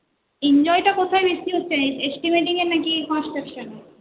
Enjoy টা কোথায় বেশি হচ্ছে estimating এ নাকি construction এ